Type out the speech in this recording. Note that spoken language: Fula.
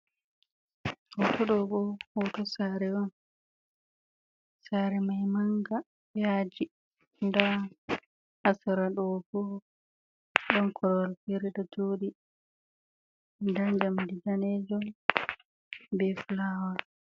hoto dobo hoto sare on, sare mai manga, yaji da ha sera do bo don korwal fere ɗo jodi nda njamdi danejum be flawa.